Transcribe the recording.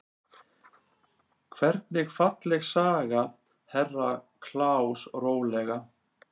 Hvernig falleg sagði Herra Kláus rólega.